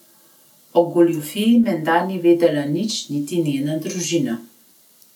O goljufiji menda ni vedela nič niti njena družina.